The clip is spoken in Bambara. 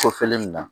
Kɔfɛlen nin na